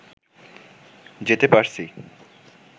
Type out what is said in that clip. যেতে পারছি